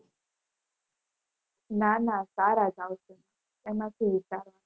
નાના સારા જ આવશે. એમાં શું?